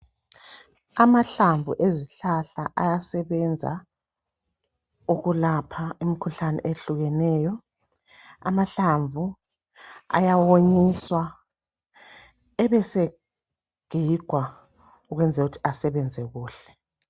Amahlamvu ezihlahla ayasebenza ukwelapha imikhuhlane eyehlukeneyo. Ayawonyiswa ebasegigwa ukwenzelukuthi asebenza kuhle.